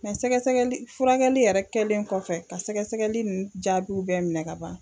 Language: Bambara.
sɛgɛsɛgɛli furakɛli yɛrɛ kɛlen kɔfɛ ka sɛgɛsɛgɛli nun jaabiw bɛɛ minɛ ka ban.